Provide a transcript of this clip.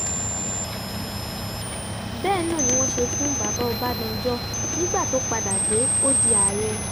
bẹ́ẹ̀ náà ni wọ́n ṣe fún baba ọbadànjọ nígbà tó padà dé ó di ààrẹ